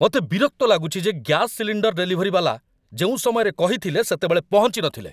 ମୋତେ ବିରକ୍ତ ଲାଗୁଛି ଯେ ଗ୍ୟାସ ସିଲିଣ୍ଡର୍ ଡେଲିଭରିବାଲା ଯେଉଁ ସମୟରେ କହିଥିଲେ ସେତେବେଳେ ପହଞ୍ଚିନଥିଲେ।